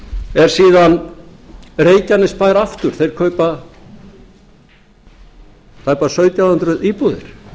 háskólavöllum er síðan reykjanesbær aftur þeir kaupa tæpar sautján hundruð íbúðir